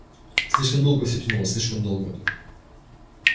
слишком долго всё тянулось слишком долго